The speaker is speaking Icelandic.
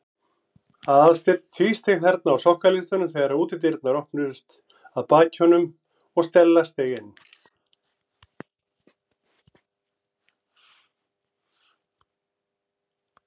Aðalsteinn tvísteig þarna á sokkaleistunum þegar útidyrnar opnuðust að baki honum og Stella steig inn.